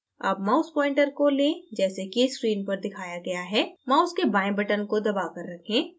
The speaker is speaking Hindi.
अब mouse pointer को लें जैसे कि screen पर दिखाया गया है mouse के बाएँ button को दबा कर रखें